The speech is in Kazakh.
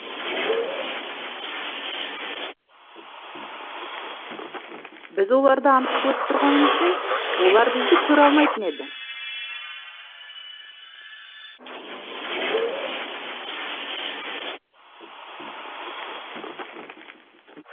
біз оларды анық көріп тұрғанымызбен олар бізді көре алмайтын еді